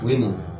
U ye mɔn